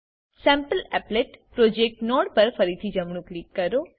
સેમ્પલીપલેટ project node પર ફરીથી જમણું ક્લિક કરો